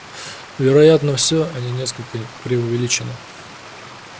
вероятно всё они несколько преувеличены